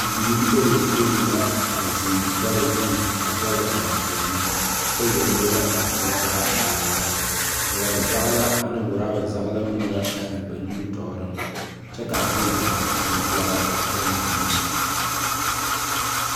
Bibiiri bayopoi la a zeŋ dare zuŋ a dɛle daangoɔno, kyɛ yɛlɛ yɛlɛ a kuro taa a laara, boɔre zage la ane woraba zage la meŋ la a biŋ ba nimitooreŋ, kyɛ ka a gyie gyaa oŋ dɛge baŋ ziŋ neŋ. 13395